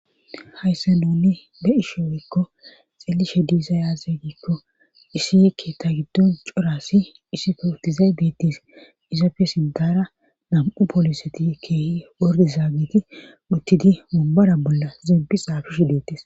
haysse nuni be isho wiikko xillishe diizayaaze giikko isiye keetta giddon coraassi isife uttizay beettis izapfe siddara nam7u pooliseti keehi wordi zaagiti uttidi mombara bolla zempi saafishi deettis.